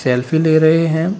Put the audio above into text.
Selfie ले रहे हैं।